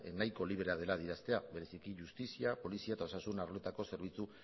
nahiko librea dela adieraztea bereziki justizia polizia eta osasun arloetako zerbitzu